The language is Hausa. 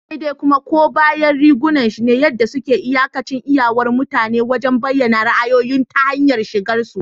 Sai dai kuma, koma bayan rigunan shi ne yadda suke iyakance iyawar mutane wajen bayyana ra'ayoyinsu ta hanyar shigarsu.